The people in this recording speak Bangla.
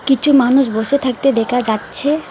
কিছু মানুষ বসে থাকতে দেখা যাচ্ছে।